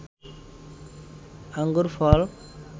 আঙ্গুর ফল